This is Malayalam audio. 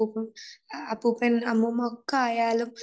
അപ്പൂപ്പൻ അമ്മൂമ്മ ഒക്കെ ആയാലും